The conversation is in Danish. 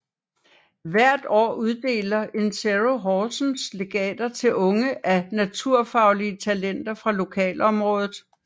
Hvert år uddeler Insero Horsens legater til unge naturfaglige talenter fra lokalområdet